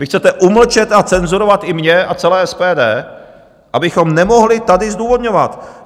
Vy chcete umlčet a cenzurovat i mě a celé SPD, abychom nemohli tady zdůvodňovat.